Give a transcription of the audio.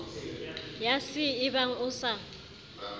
ya c ebang o sa